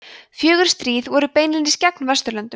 fjögur stríð voru beinlínis gegn vesturlöndum